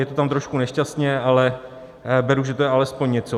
Je to tam trošku nešťastně, ale beru, že to je alespoň něco.